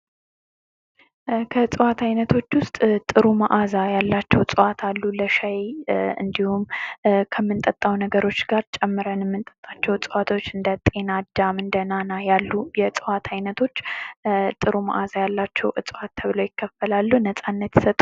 እጽዋት አይነቶች ውስጥ ጥሩ መዓዛ ያላቸው እጽዋት አሉ ለሻይ እንዲሁም ከምንጠጣው ነገሮች ጋር ጨምረን ምንጠጣቸው እዋቶች ለምሳሌ እንደ ጤና አዳም እንደ ናና ያሉ የ የዕጽዋት ዓይነቶች ጥሩ መዓዛ ያላቸው ተብለው ይከፈላሉ ነጻነት ይሰጡናል።